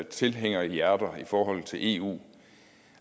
tilhængerhjerter i forhold til eu